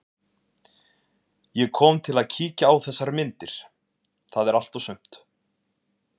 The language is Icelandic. Ég kom til að kíkja á þessar myndir, það er allt og sumt.